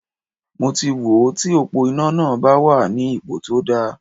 Mo ti wò ó ti òpó iná náà bá wà ní ipo tó dáa.